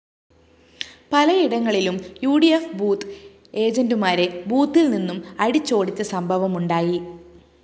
പലയിടങ്ങളിലും U D F booth ഏജന്റുമാരെ ബൂത്തില്‍ നിന്നും അടിച്ചോടിച്ച സംഭവമുണ്ടായി